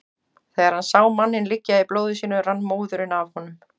Þegar hann sá manninn liggja í blóði sínu rann móðurinn af honum.